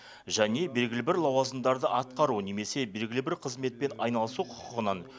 және белгілі бір лауазымдарды атқару немесе белгілі бір қызметпен айналысу құқығынан